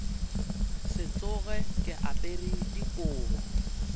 se tsoge ke apere dikobo